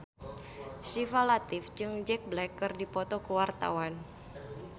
Syifa Latief jeung Jack Black keur dipoto ku wartawan